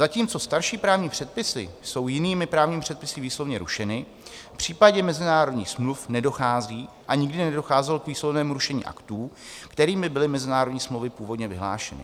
Zatímco starší právní předpisy jsou jinými právními předpisy výslovně rušeny, v případě mezinárodních smluv nedochází a nikdy nedocházelo k výslovnému rušení aktů, kterými byly mezinárodní smlouvy původně vyhlášeny.